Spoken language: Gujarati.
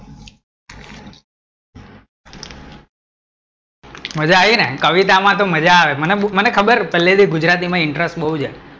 મજા આયી ને, કવિતા માં તો મજા આવે ને, મને ખબર પેલે થી ગુજરાતી માં interest બોવ છે